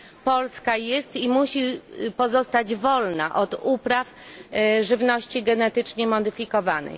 Polska jest i musi pozostać wolna od upraw żywności genetycznie modyfikowanej.